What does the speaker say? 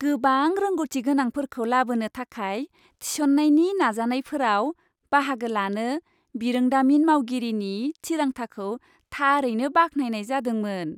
गोबां रोंग'थिगोनांफोरखौ लाबोनो थाखाय थिसननायनि नाजानायफोराव बाहागो लानो बिरोंदामिन मावगिरिनि थिरांथाखौ थारैनो बाख्नायनाय जादोंमोन।